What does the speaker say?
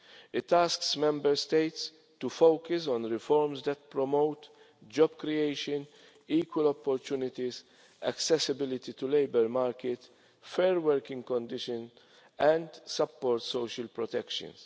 year. It asks Member States to focus on reforms that promote job creation, equal opportunities, accessibility to labour market, fair working conditions and support social protections.